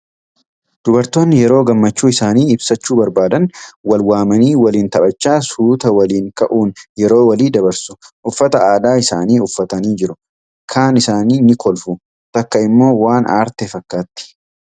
Dubartoonni yeroo gammachuu isaanii ibsachuu barbaadan wal waamanii waliin taphachaa suutaa waliin ka'uun yeroo walii dabarsu. Uffata Aadaa isaanii uffatanii jiru. Kaan isaanii ni kolfu, takka immoo waan aarte fakkaatti.